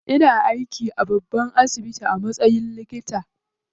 Ina aiki a babban asibiti a matsayin likita.